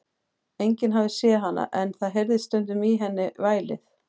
Enginn hafði séð hana, en það heyrðist stundum í henni vælið.